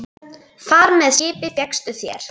Far með skipi fékkstu þér.